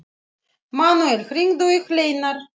Manuel, hringdu í Hleinar.